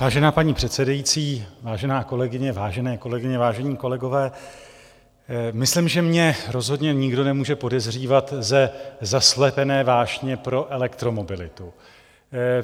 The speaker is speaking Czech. Vážená paní předsedající, vážená kolegyně, vážené kolegyně, vážení kolegové, myslím, že mě rozhodně nikdo nemůže podezřívat ze zaslepené vášně pro elektromobilitu.